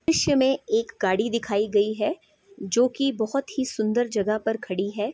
दृश्य में एक गाड़ी दिखाई गई है जो कि बहुत ही सुन्दर जगह पर खड़ी है।